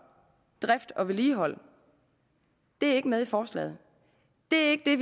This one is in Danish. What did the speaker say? drift og vedligehold ikke med i forslaget det er ikke det